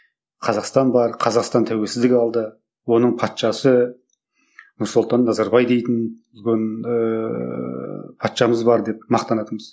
қазақстан бар қазақстан тәуелсіздік алды оның патшасы нұрсұлтан назарбай дейтін үлкен ііі патшамыз бар деп мақтанатынбыз